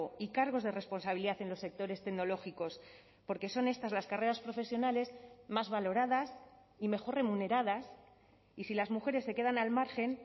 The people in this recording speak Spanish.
y cargos de responsabilidad en los sectores tecnológicos porque son estas las carreras profesionales más valoradas y mejor remuneradas y si las mujeres se quedan al margen